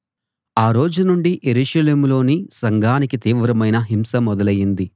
ఆ రోజు నుండి యెరూషలేములోని సంఘానికి తీవ్రమైన హింస మొదలైంది